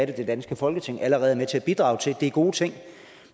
det danske folketing allerede er med til at bidrage til er gode ting